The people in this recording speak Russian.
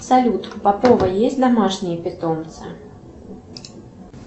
салют у попова есть домашние питомцы